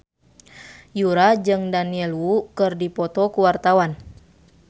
Yura jeung Daniel Wu keur dipoto ku wartawan